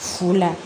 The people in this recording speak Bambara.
Fu la